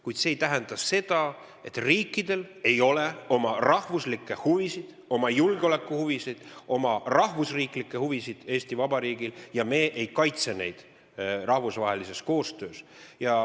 Kuid see ei tähenda, et Eesti Vabariigil ei ole oma rahvuslikke huvisid, oma julgeolekuhuvisid, oma rahvusriiklikke huvisid ja me ei kaitse neid rahvusvahelises koostöös.